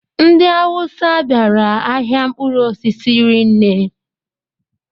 Ndị Awusa bịara ahịa mkpụrụ osisi rinne